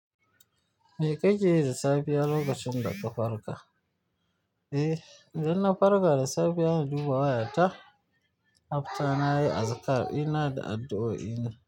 Me kakeyi da safiya lokacin daka farka? Eh, idan na farka da safiya na duba wayata, after nayi azkar ina da addu'o'i na.